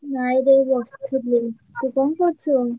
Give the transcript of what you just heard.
ନାଇଁରେ ବସଥିଲି। ତୁ କଣ କରୁଚୁ?